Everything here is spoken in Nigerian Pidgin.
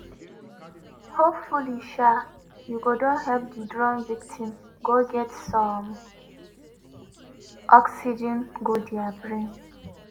hopefully um you go don help di drown victim get some oxygen go dia brain.